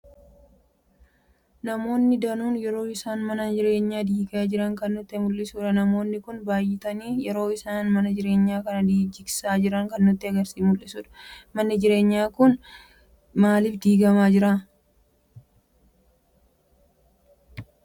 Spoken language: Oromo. Namoonni daanuun yeroo isaan mana jireenya diigaa jiran kan nutti muldhisudha. Namoonni kun baay'atani yeroo isaan mana jireenya kana jigsaa jiran kan nutti muldhisudha. Manni jireenya kun maaliif diigama jira jetttani yaaddu?